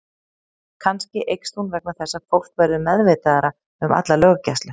Kannski eykst hún vegna þess að fólk verður meðvitaðra um alla löggæslu.